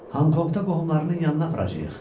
Honkonqda qohumlarının yanına aparacağıq.